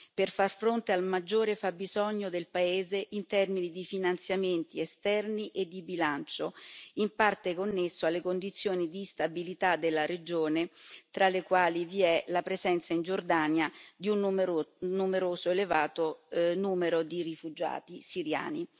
per far fronte al maggiore fabbisogno del paese in termini di finanziamenti esterni e di bilancio, in parte connesso alle condizioni di instabilità della regione, tra le quali vi è la presenza in Giordania di un numero elevato di rifugiati siriani.